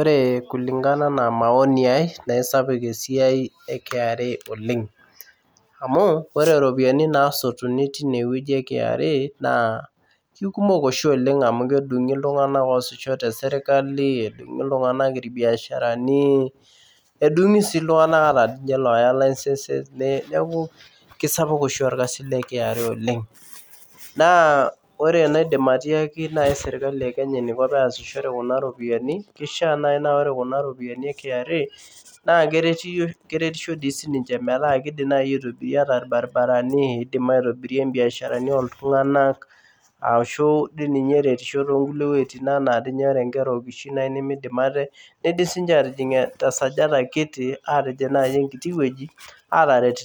Ore kulingana enaa maoni aai naa esaapuk esiai e KRA oleng amu ore iropiyiani naasotuni te KRA naaa inooltung'anak oosisho tesirkali edungisii iltung'anak ata iloooya license keisapuk oshi orrkasi le KRA oleng naa ore enaidim naaji ariaki serkali peitumiya kuna ropiyiani naa keretisho dii siininche metaa keidim naaji aitobirie enaa irbaribarani neidim aitobirie imbiasharani ooltung'anak ashuuu ninye eretiasho toonkulie wuejitin enaa teniaata inkera okishin nemeidim ate neidim sii ninye atijing tesajata kiti aataret